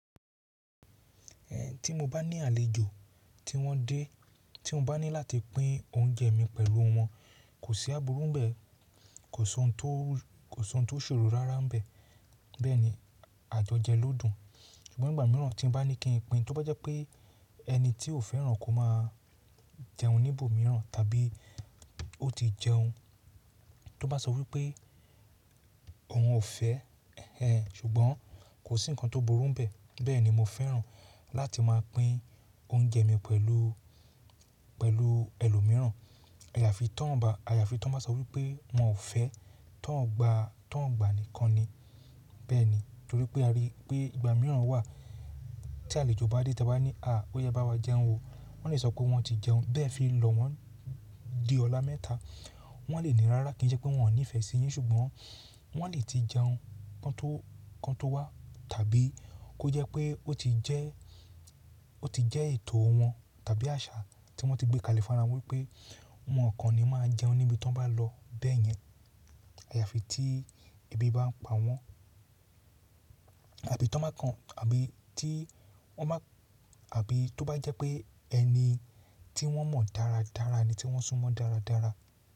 Ẹ̀ tí mo bá ní àlejò tí wọ́n dé, tí mo bá ní láti pín oúnjẹ mi pẹ̀lú wọn, kò sí àbúrò bẹ́ẹ̀, kò sọ n tó, kò sọ n tó ṣòro rárá bẹ́ẹ̀, bẹ́ẹ̀ ni àjọjẹ ló dùn. Ṣùgbọ́n ìgbà mìíràn tí mo bá ní kí n pín, tó bá jẹ́ pé ẹni tí ò fẹ́ràn kó máa jẹun níbò mìíràn tàbí ó ti jẹun, tó bá sọ wípé òun ò fẹ́ ẹ, ṣùgbọ́n kò sí ǹkan tó burú bẹ́ẹ̀, bẹ́ẹ̀ ni mo fẹ́ràn láti máa pín oúnjẹ mi pẹ̀lú, pẹ̀lú ẹlòmíràn. Áyà fi tán bá, àya fi tán bá sọ wípé wọn fẹ́, tán gba, tán gba nìkan ni. Bẹ́ẹ̀ ni, torí pé a rí i pé ìgbà mìíràn wà tí àlejò bá dé tí a bá ní, à, ó yá ẹ bá wa jẹun o. Wọ́n lè sọ pé wọn ti jẹun, bẹ́ẹ̀ fi lọ wọ́n di ọlá mẹ́ta. Wọ́n lè ní rárá kí í ṣe pé wọn ní ìfẹ́ sí yín ṣùgbọ́n wọ́n lè ti jẹun kan tó, kan tó wá tàbí kó jẹ́ pé ó ti jẹ́, ó ti jẹ́ ètò wọn tàbí àṣà tí wọ́n ti gbé kalẹ̀ fúnra won wípé wọn kàn ni máa jẹun níbi tí wọ́n bá lọ bẹ́ẹ̀ yẹn. Àyà fi tí ebi bá ń pa wọ́n àbí tán bá kan, àbí tí wọ́n bá, àbí tó bá jẹ́ pé ẹni tí wọ́n mọ̀ dára dára ẹni tí wọ́n sún mọ́ dára dára.